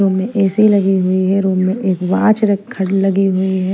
Room A C लगी हुई है रूम में एक वॉच लगी हुई है।